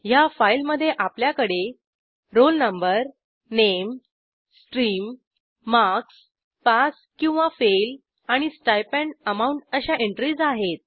ह्या फाईलमधे आपल्याकडे रोल नो नामे स्ट्रीम मार्क्स पास किंवा फेल आणि स्टाइपेंड amountअशा एंट्रीज आहेत